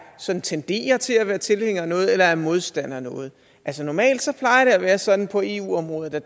sådan tenderer til at være tilhænger af noget eller er modstander af noget altså normalt plejer det at være sådan på eu området at